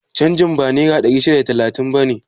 Canjin ba naira ɗari shida da talatin bane?